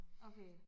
Okay